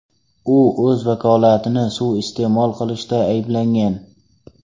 U o‘z vakolatlarini suiiste’mol qilishda ayblangan.